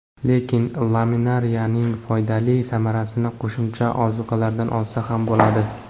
Lekin, laminariyaning foydali samarasini qo‘shimcha ozuqalardan olsa ham bo‘ladi.